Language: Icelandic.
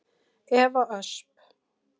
Eva Ösp.